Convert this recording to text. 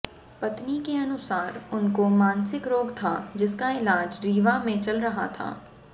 पत्नी के अनुसार उनको मानसिक रोग था जिसका इलाज रीवा में चल रहा था